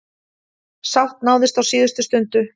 Sátt náðist á síðustu stundu.